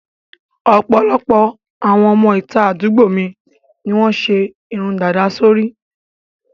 Ọ̀pọ̀lọpọ̀ àwọn ọmọ ìta àdúgbò mi ni wọ́n ṣe irun dàda sí orí